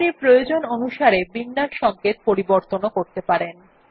আপনি প্রয়োজন অনুসারে বিন্যাস সংকেত পরিবর্তনও করতে পারেন